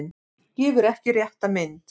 Gefur ekki rétta mynd